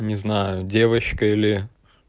не знаю девочка или